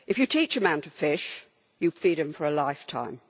teach a man to fish and you feed him for a lifetime'.